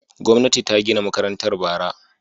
Gwamnati ta gina makarantar bara.